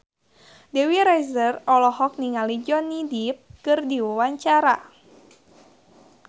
Dewi Rezer olohok ningali Johnny Depp keur diwawancara